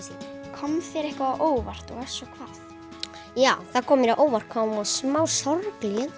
kom þér eitthvað á óvart og ef svo hvað já það koma mér á óvart hvað hún var smá sorgleg